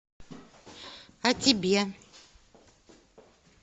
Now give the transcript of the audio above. о тебе